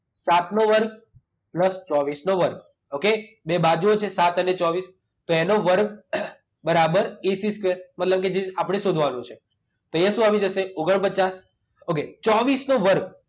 સાતનો વર્ગ પ્લસ ચોવીસનો વર્ગ. ઓક? બે બાજુઓ છે સાત અને ચોવીસ. તો એનો વર્ગ બરાબર એસી સ્કવેર. મતલબ કે જે આપણે શોધવાનું છે. તો અહીંયા શું આવી જશે? ઓગણપચાસ. ઓકે ચોવીસનો વર્ગ